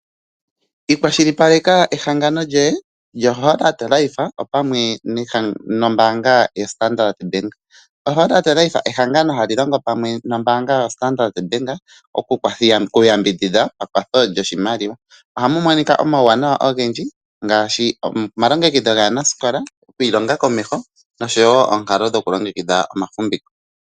Ikwashilipaleka ehangano lyohe lyo Holard life opamwe noombanga yo Standard Bank. O Holard life ehangano hali longo pamwe mombanga yo Standard Bank, oku yambidhidha pakwatho lyoshimaliwa. Ohamu monika omawuwanawa ogendji ngashi omalongekidho gaanasikola, okwilonga komesho noshowo onkalo dhokulongekidha omafumbiko.